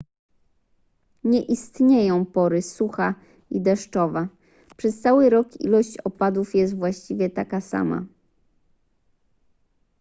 nie istnieją pory sucha i deszczowa przez cały rok ilość opadów jest właściwie taka sama